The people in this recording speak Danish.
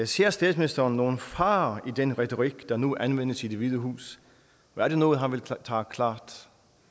ser statsministeren nogen fare i den retorik der nu anvendes i det hvide hus og er det noget han vil tage klart